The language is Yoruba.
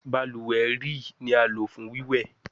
Baluwe rii ni a lo fun wíwẹ